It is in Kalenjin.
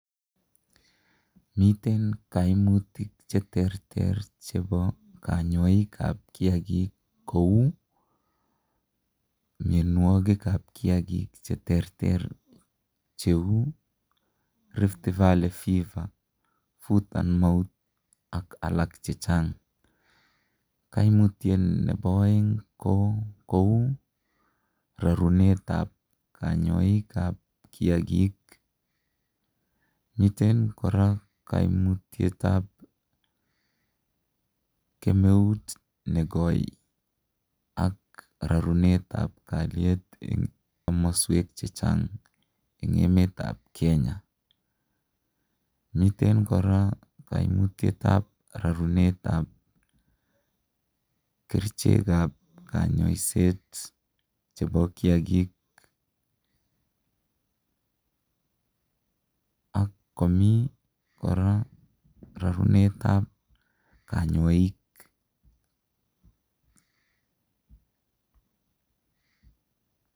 Miten kaimutik cheterter chebo kanyoikab kiagik kou mianwogikab kiagik cheterter cheu Riftvalley Fever, foot and mouth ak alak che chang . Kaimutiet nebo aeng ko kou rarunetab kanyoik ab kiagik. Miten kora kaimutietab kemeut nekoi ak rarunetab kalyet enkomoswek che chang en emetab Kenya. Nitet kora kaimutietab rarunetab kerichekak konyoiset chebo kiagik ak komi kora rarunetab konyoik.